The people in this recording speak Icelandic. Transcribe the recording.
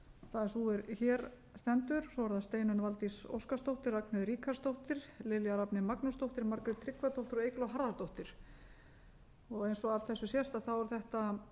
það er sú er hér stendur og svo eru það steinunn valdís óskarsdóttir ragnheiður ríkharðsdóttir lilja rafney magnúsdóttir margrét tryggvadóttir og eygló harðardóttir eins og af þessu sést eru þetta